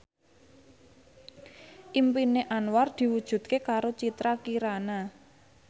impine Anwar diwujudke karo Citra Kirana